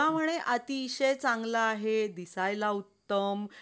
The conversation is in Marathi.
म्हणे अतिशय चांगला आहे. दिसायला उत्तम